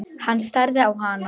Hann starði á hana.